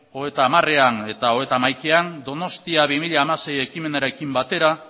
hogeita hamarean eta hogeita hamaikaean donostia bi mila hamasei ekimenarekin batera